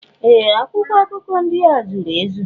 Ee! Akwụkwọ akụkọ ndị a zuru ezu.